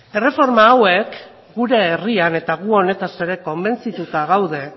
erreforma hauek gure herrian eta gu honetaz ere konbentzituta gaude